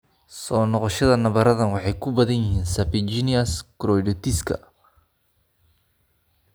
Soo noqoshada nabarradan waxay ku badan yihiin serpiginous choroiditiska.